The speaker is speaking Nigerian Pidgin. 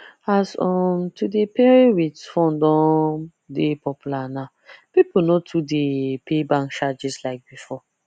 as um to dey pay wit phone don dey popular now people no too dey pay bank charges like before